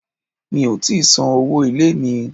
Mi ò tíì san owó ilé mi.